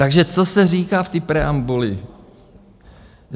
Takže co se říká v té preambuli?